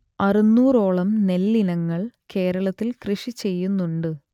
അറുന്നൂറോളം നെല്ലിനങ്ങൾ കേരളത്തിൽ കൃഷിചെയ്യുന്നുണ്ട്